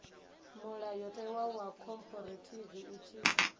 mulayotewa wa khophorethivi u tshi